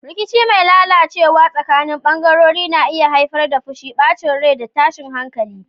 Rikici mai lalacewa tsakanin bangarori na iya haifar da fushi, bacin rai, da tashin hankali